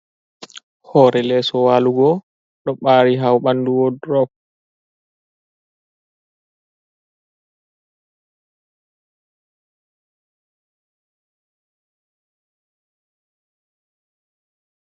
Hore leso walugo ɗo ɓari ha ɓandu woldrol.